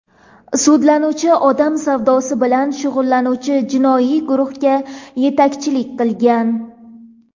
Sudlanuvchi odam savdosi bilan shug‘ullanuvchi jinoiy guruhga yetakchilik qilgan.